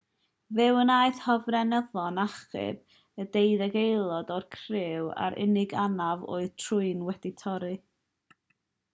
fe wnaeth hofrenyddion achub y deuddeg aelod o'r criw a'r unig anaf oedd trwyn wedi torri